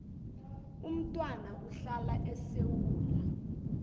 umntwana uhlala esewula